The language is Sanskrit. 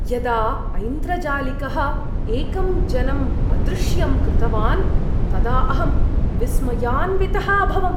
यदा ऐन्द्रजालिकः एकं जनम् अदृश्यं कृतवान् तदा अहं विस्मयान्वितः अभवम्।